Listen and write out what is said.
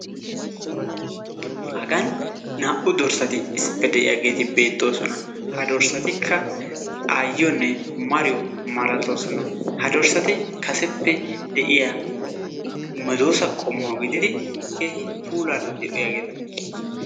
Hagani naa'u dorssati issippe de'iyaageti beettosona. Ha dorsattika aayiyonne mariyo malatossona, ha dorssati kaseppe de'iyaa medossa qommo gidid keehi puulara de'iyaagetta.